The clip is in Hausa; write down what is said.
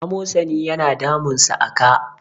amosani yana damunsa a ka